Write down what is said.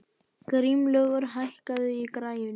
Grímlaugur, hækkaðu í græjunum.